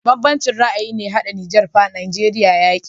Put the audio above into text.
Ban banci ra ayi ne ya hada niger fa nageria yaƙi